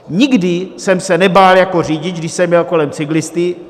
Nikdy jsem se nebál jako řidič, když jsem jel kolem cyklisty.